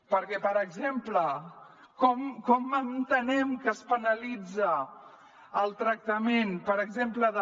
perquè per exemple com entenem que es penalitza el tractament per exemple de